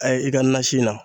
A ye, i ka nasi na